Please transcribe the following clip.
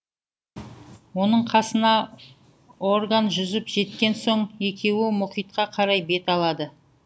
оның қасына орган жүзіп жеткен соң екеуі мұхитқа қарай бет алады